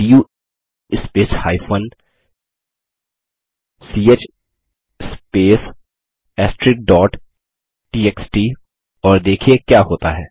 do space ch space txt और देखिये क्या होता है